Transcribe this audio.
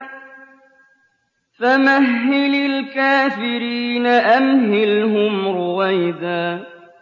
فَمَهِّلِ الْكَافِرِينَ أَمْهِلْهُمْ رُوَيْدًا